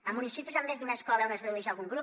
a municipis amb més d’una escola on es redueix algun grup